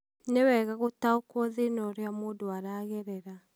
nĩwega gũtaũkwo thĩna ũrĩa mũndũ aragerera.